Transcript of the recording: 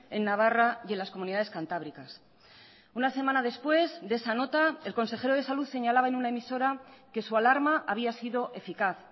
en navarra y en las comunidades cantábricas una semana después de esa nota el consejero de salud señalaba en una emisora que su alarma había sido eficaz